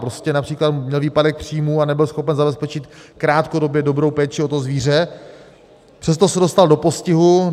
Prostě například měl výpadek příjmů a nebyl schopen zabezpečit krátkodobě dobrou péči o to zvíře, přesto se dostal do postihu.